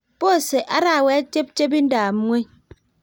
Pose arawet chepchepindob ngweny